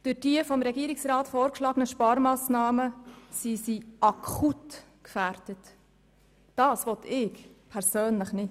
Durch die vom Regierungsrat vorgeschlagenen Sparmassnahmen sind sie akut gefährdet, und das will ich persönlich nicht.